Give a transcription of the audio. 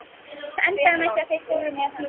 Það endaði með því að þeir fóru með hann.